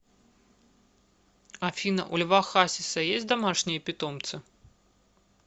афина у льва хасиса есть домашние питомцы